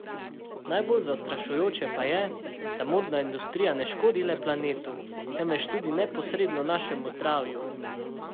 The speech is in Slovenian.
Najbolj zastrašujoče pa je, da modna industrija ne škodi le planetu, temveč tudi neposredno našemu zdravju.